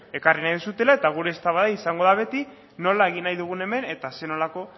ekarri nahi duzuela eta gure eztabaida izango da beti nola egin nahi dugun hemen eta zer nolako